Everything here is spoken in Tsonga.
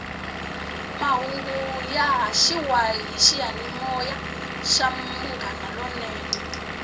mahungu ya haxiwa hi xiyanimoya xa munghana lonene